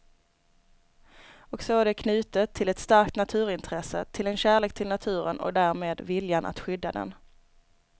Och så är det knutet till ett starkt naturintresse, till en kärlek till naturen och därmed viljan att skydda den.